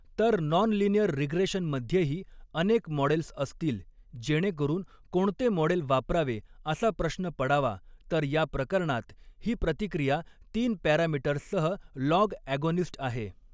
तर नॉनलिनीअर रिग्रेशनमध्येही अनेक मॉडेल्स असतील जेणेकरुन कोणते मॉडेल वापरावे असा प्रश्न पडावा तर या प्रकरणात ही प्रतिक्रिया तीन पॅरामीटर्ससह लॉग ॲगोनिस्ट आहे.